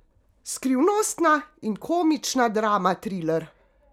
Skrivnostna in komična drama triler!